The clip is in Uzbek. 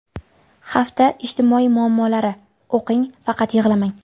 Hafta ijtimoiy muammolari: O‘qing, faqat yig‘lamang.